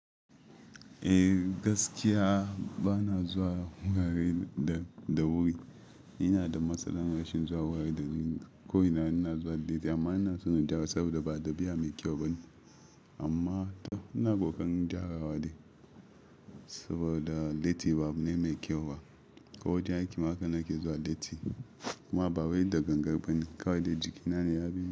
Eh gaskiya bana zuwa wurare da wuri. Ina da matsalar rashin zuwa wurare da wuri. Ko ina ina zuwa lati amma ina son in gyara saboda ba dabi'a mai kyau ba ne. Amma ina kokarin gyarawa ne saboda latti babu mai kyau ba. Ko wajen aiki haka nake zuwa latti. Kuma ba wai da gangan bane kawai da jikina ne ya bi.